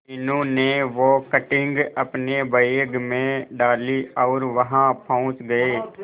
मीनू ने वो कटिंग अपने बैग में डाली और वहां पहुंच गए